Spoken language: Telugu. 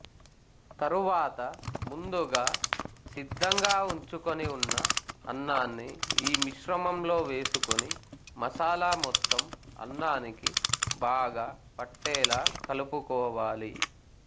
తరువాత ముందుగా సిద్ధంగా ఉంచుకొని ఉన్న అన్నాన్ని ఈ మిశ్రమంలో వేసుకొని మసాలా మొత్తం అన్నానికి బాగా పట్టేలా కలుపుకోవాలి